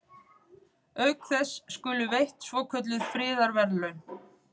Auk þess skulu veitt svokölluð friðarverðlaun.